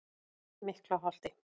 Miklaholti